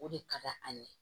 O de ka d'an ye